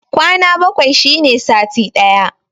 Kwana bakwai shine sati ɗaya